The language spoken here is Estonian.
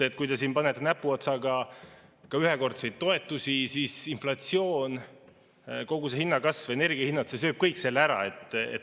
Kui te siin panete näpuotsaga ühekordseid toetusi, siis inflatsioon, kogu see hinnakasv, energiahinnad, sööb kõik selle ära.